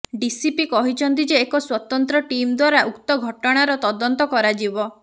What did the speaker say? DCP କହିଛନ୍ତି ଯେ ଏକ ସ୍ୱତନ୍ତ୍ର ଟିମ୍ ଦ୍ୱାରା ଉକ୍ତ ଘଟଣାର ତଦନ୍ତ କରାଯିବ